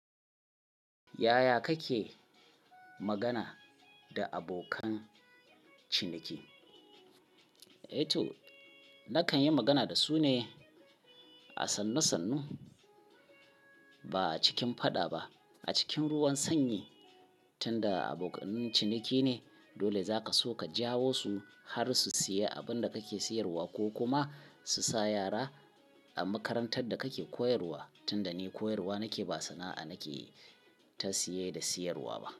Yaya kake magana da abokan ciniki? Eh to nakan yi magana da su ne a sannu sannu ba a cikin faɗa ba. A cikin ruwan sanyi tunda abokan ciniki ne dole zaka so ka jawo su har su sayi abun da kake siyarwa ko kuma su sa yara a makarantar da kake koyarwa. Tunda ni koyarwa nake ba sana'a nake ta siye da siyarwa ba.